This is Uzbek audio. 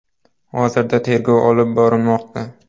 Hozirda tergov olib borilmoqda.